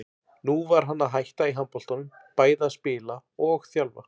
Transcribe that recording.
Nú var hann að hætta í handboltanum, bæði að spila og þjálfa.